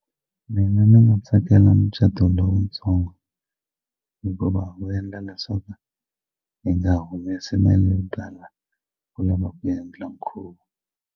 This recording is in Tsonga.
Mina ni nga tsakela mucato lowutsongo hikuva wu endla leswaku hi nga humesi mali yo tala ku lava ku endla nkhuvo.